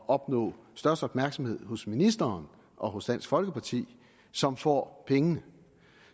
opnå størst opmærksomhed hos ministeren og hos dansk folkeparti som får pengene